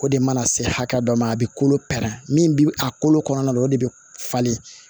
O de mana se hakɛ dɔ ma a bɛ kolo pɛrɛn min bi a kolo kɔnɔna o de bɛ falen